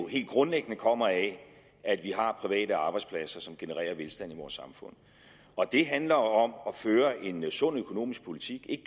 helt grundlæggende kommer af at vi har private arbejdspladser som genererer velstand i vores samfund det handler om at føre en sund økonomisk politik